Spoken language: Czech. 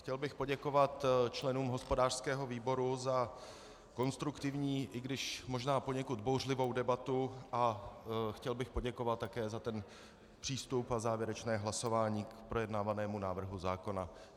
Chtěl bych poděkovat členům hospodářského výboru za konstruktivní, i když možná poněkud bouřlivou debatu, a chtěl bych poděkovat také za ten přístup a závěrečné hlasování k projednávanému návrhu zákona.